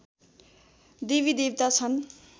देवीदेवता छन्